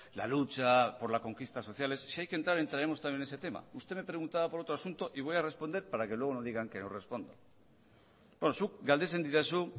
la lucha por las conquistas sociales si hay que entrar entraremos también en ese tema usted me preguntaba por otro asunto y voy a responder para que luego no digan que no respondo beno zuk galdetzen didazu